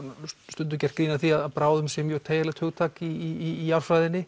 stundum gert grín að því að bráðum sé mjög teygjanlegt hugtak í jarðfræðinni